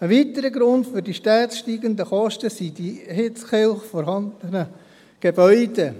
Ein weiterer Grund für die stets steigenden Kosten sind die in Hitzkirch vorhandenen Gebäude.